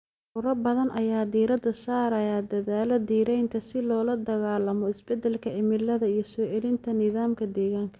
Ururo badan ayaa diiradda saaraya dadaallada dhiraynta si loola dagaallamo isbeddelka cimilada iyo soo celinta nidaamka deegaanka.